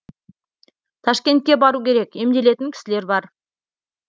ташкентке бару керек емделетін кісілер бар